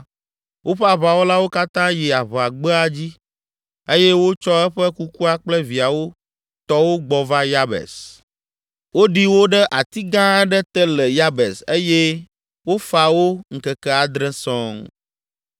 woƒe aʋawɔlawo katã yi aʋagbea dzi eye wotsɔ eƒe kukua kple viawo tɔwo gbɔ va Yabes. Woɖi wo ɖe ati gã aɖe te le Yabes eye wofa wo ŋkeke adre sɔŋ.